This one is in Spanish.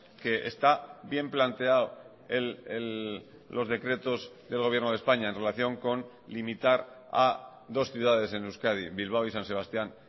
que está bien planteado los decretos del gobierno de españa en relación con limitar a dos ciudades en euskadi bilbao y san sebastian